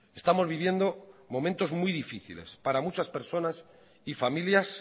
estamos viviendo momentos muy difíciles para muchas personas y familias